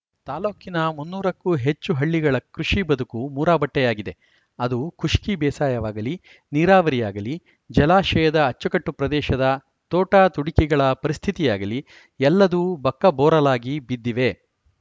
ತಾಲೂಕಿನ ಮುನ್ನೂರಕ್ಕೂ ಹೆಚ್ಚು ಹಳ್ಳಿಗಳ ಕೃಷಿ ಬದುಕು ಮೂರಾಬಟ್ಟೆಯಾಗಿದೆ ಅದು ಖುಷ್ಕಿ ಬೇಸಾಯವಾಗಲಿ ನೀರಾವರಿಯಾಗಲಿ ಜಲಾಶಯದ ಅಚ್ಚುಕಟ್ಟು ಪ್ರದೇಶದ ತೋಟ ತುಡಿಕೆಗಳ ಪರಿಸ್ಥಿತಿಯಾಗಲಿ ಎಲ್ಲದೂ ಬಕ್ಕಬೋರಲಾಗಿ ಬಿದ್ದಿವೆ